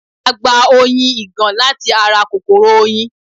A gba oyin ìgàn láti ara kòkòrò oyin